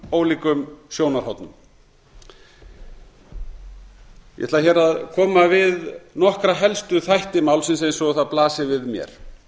ólíkum sjónarhornum ég ætla hér að koma við nokkra helstu þætti málsins eins og það blasir við mér